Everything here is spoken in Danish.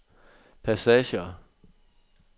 passager